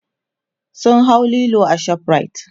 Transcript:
sun hau Lilo a shoprite